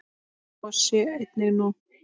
Svo sé einnig nú.